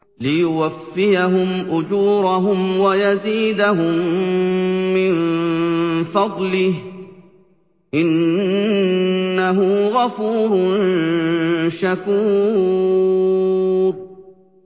لِيُوَفِّيَهُمْ أُجُورَهُمْ وَيَزِيدَهُم مِّن فَضْلِهِ ۚ إِنَّهُ غَفُورٌ شَكُورٌ